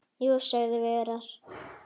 Jú, sögðum við örar.